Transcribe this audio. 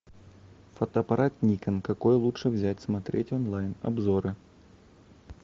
фотоаппарат никон какой лучше взять смотреть онлайн обзоры